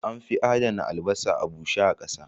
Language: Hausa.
An fi adana albasa a bushe ƙasa